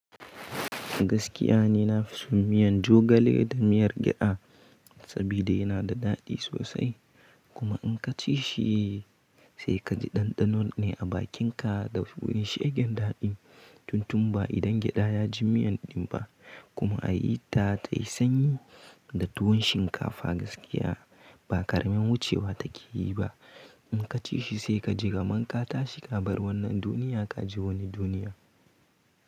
Gaskiya ni na fi son miyan jogale da miyar gyada saboda yana da daɗi sosai. Kuma in ka ci shi sai ka ji ɗanɗanon ne a bakinka da wani shegen daɗi. Tun tun ba idan gyada ya ji miyan din ba kuma a yi ta tayi sanyi da tuwon shinkafa gaskiya ba ƙaramin wucewa take yi ba. In ka ci shi sai ka ji gamon ka tashi ka bar wannan duniya ka je wani duniya.